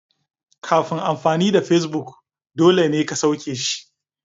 Kafin amfani da Facebook dole ne ka sauke shi.